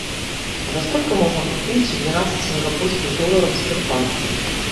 за сколько можно купить двенадцать сингапурских долларов в сбербанке